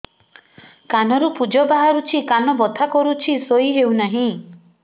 କାନ ରୁ ପୂଜ ବାହାରୁଛି କାନ ବଥା କରୁଛି ଶୋଇ ହେଉନାହିଁ